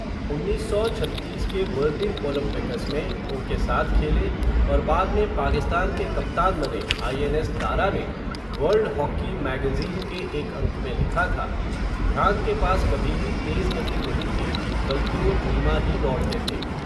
उन्नीस सौ छत्तीस के बर्लिन ओलंपिकस में, उनके साथ खेले, और बाद में पाकिस्तान के कप्तान बने आईएनएस दारा ने, वर्ल्ड हॉकी मैगज़ीन के एक अंक में लिखा था, ध्यान के पास कभी भी तेज़ गति नहीं थी, बल्कि वो धीमा ही दौड़ते थे.